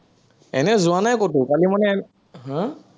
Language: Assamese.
এনেই যোৱা নাই কতো, কালি মানে, হা